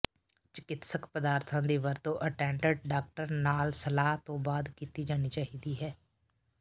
ਚਿਕਿਤਸਕ ਪਦਾਰਥਾਂ ਦੀ ਵਰਤੋਂ ਅਟੈਂਡਡ ਡਾਕਟਰ ਨਾਲ ਸਲਾਹ ਤੋਂ ਬਾਅਦ ਕੀਤੀ ਜਾਣੀ ਚਾਹੀਦੀ ਹੈ